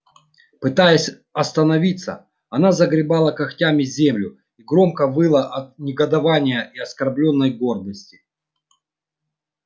пытаясь остановиться она загребала когтями землю и громко выла от негодования и оскорблённой гордости